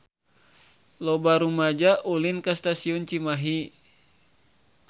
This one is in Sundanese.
Loba rumaja ulin ka Stasiun Cimahi